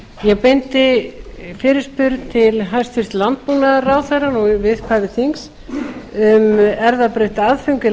ég beindi fyrirspurn til hæstvirts landbúnaðarráðherra í upphafi þings um erfðabreytt aðföng í